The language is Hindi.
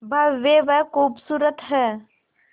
भव्य व खूबसूरत है